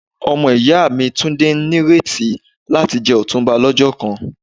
Omo iya mi Tunde n nireti lati je Otunba lojo kan.